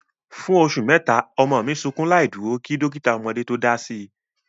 Fún oṣù mẹ́ta, ọmọ mi sukún láìdúró kí dọ́kítà ọmọdé tó dási.